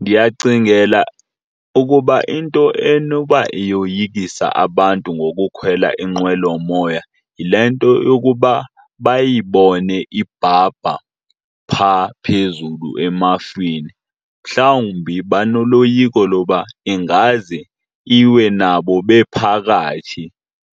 Ndiyacingela ukuba into enoba iyoyikisa abantu ngokukhwela inqwelomoya yile nto yokuba bayibone ibhabha phaa phezulu emafini. Mhlawumbi banoloyiko loba ingaze iwe nabo bephakathi